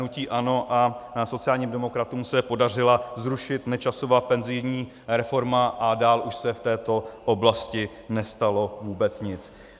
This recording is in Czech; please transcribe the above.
Hnutí ANO a sociálním demokratům se podařilo zrušit Nečasovu penzijní reformu a dál už se v této oblasti nestalo vůbec nic.